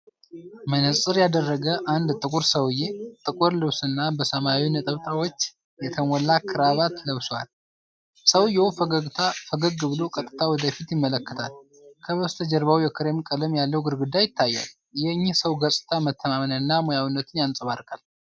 መነፅር ያደረገ አንድ ጥቁር ሰውዬ ጥቁር ልብስና በሰማያዊ ነጠብጣቦች የተሞላ ክራባት ለብሷል። ሰውዬው ፈገግ ብሎ ቀጥታ ወደ ፊት ይመለከታል፤ ከበስተጀርባው የክሬም ቀለም ያለው ግድግዳ ይታያል። የእኚህ ሰው ገፅታ መተማመንንና ሙያዊነትን ያንፀባርቃል።